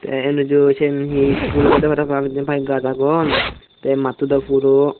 te anoju seane he iskul obodey parapang jinpai gash aagon te mattodow purow.